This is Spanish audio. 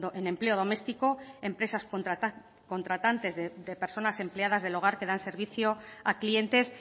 en empleo doméstico empresas contratantes de personas empleadas del hogar que dan servicio a clientes